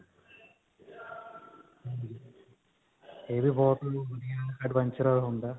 ਇਹ ਵੀ ਬਹੁਤ adventure ਹੁੰਦਾ ਹੈ.